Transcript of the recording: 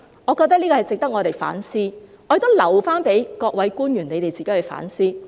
我覺得這方面值得我們反思，我亦留待各位官員自行反思。